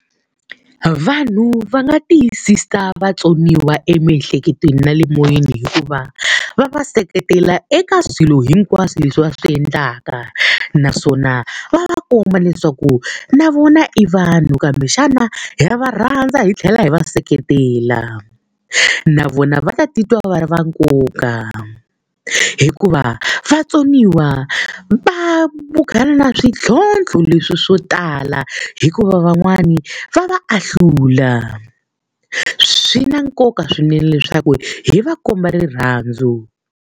Vanhu va nga tiyisisa vatsoniwa emiehleketweni na le moyeni hi ku va va va seketela eka swilo hinkwaswo leswi va swi endlaka. Naswona va va komba leswaku na vona i vanhu kambe xana ha va rhandza hi tlhela hi va seketela, na vona va ta titwa va ri va nkoka hikuva vatsoniwa va na swintlhontlho leswi swo tala hikuva van'wani va va ahlula. Swi na nkoka swinene leswaku hi va komba rirhandzu.